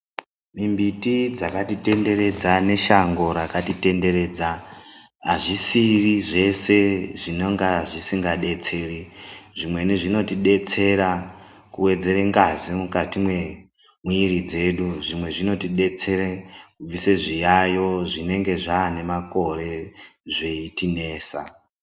Mimbiti dzakatitenderedza neshango rakatitenderedza hazvisiri zvese zvinonga zvisingadetseri zvimweni zvinotidetsera kuwedzera ngazi mukati mwemwiri dzedu zvimwe zvinotidetsere kubvise zviyaiyo zvinenge zvaane makore zveitinesa